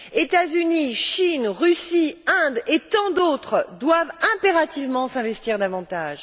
États Unis, Chine, Russie, Inde et tant d'autres doivent impérativement s'investir davantage.